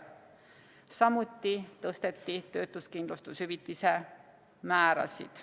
Samuti tõsteti töötuskindlustushüvitise määrasid.